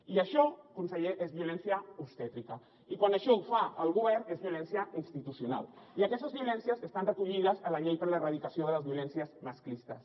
i això conseller és violència obstètrica i quan això ho fa el govern és violència institucional i aquestes violències estan recollides en la llei per a l’erradicació de les violències masclistes